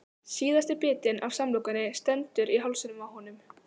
Síðasti bitinn af samlokunni stendur í hálsinum á honum.